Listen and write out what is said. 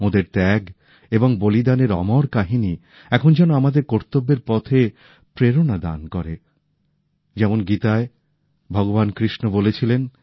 ওঁদের ত্যাগ এবং বলিদানের অমর কাহিনী এখন যেন আমাদের কর্তব্যের পথে প্রেরণা দান করে যেমন গীতায় ভগবান কৃষ্ণ বলেছিলেন